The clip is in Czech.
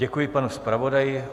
Děkuji panu zpravodaji.